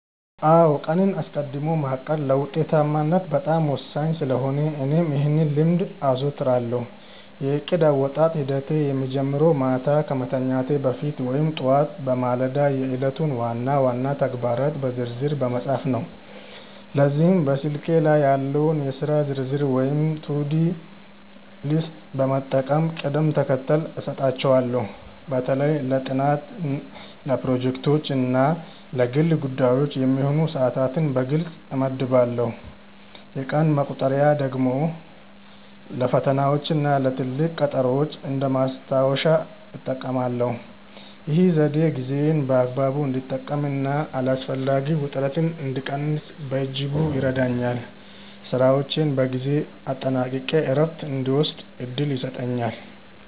አዎ ቀንን አስቀድሞ ማቀድ ለውጤታማነት በጣም ወሳኝ ስለሆነ እኔም ይህን ልምድ አዘወትራለሁ። የእቅድ አወጣጥ ሂደቴ የሚጀምረው ማታ ከመተኛቴ በፊት ወይም ጠዋት በማለዳ የዕለቱን ዋና ዋና ተግባራት በዝርዝር በመጻፍ ነው። ለዚህም በስልኬ ላይ ያለውን የሥራ ዝርዝር ወይም ቱዱ ሊስት በመጠቀም ቅደም ተከተል እሰጣቸዋለሁ። በተለይ ለጥናት፣ ለፕሮጀክቶች እና ለግል ጉዳዮች የሚሆኑ ሰዓታትን በግልጽ እመድባለሁ። የቀን መቁጠሪያ ደግሞ ለፈተናዎችና ለትልቅ ቀጠሮዎች እንደ ማስታወሻ እጠቀማለሁ። ይህ ዘዴ ጊዜዬን በአግባቡ እንድጠቀምና አላስፈላጊ ውጥረትን እንድቀንስ በእጅጉ ይረዳኛል። ስራዎቼን በጊዜ አጠናቅቄ እረፍት እንድወስድም እድል ይሰጠኛል።